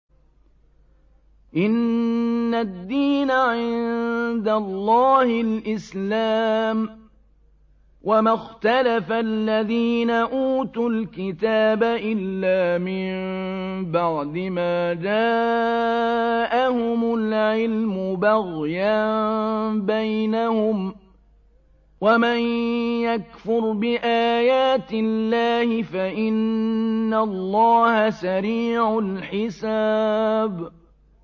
إِنَّ الدِّينَ عِندَ اللَّهِ الْإِسْلَامُ ۗ وَمَا اخْتَلَفَ الَّذِينَ أُوتُوا الْكِتَابَ إِلَّا مِن بَعْدِ مَا جَاءَهُمُ الْعِلْمُ بَغْيًا بَيْنَهُمْ ۗ وَمَن يَكْفُرْ بِآيَاتِ اللَّهِ فَإِنَّ اللَّهَ سَرِيعُ الْحِسَابِ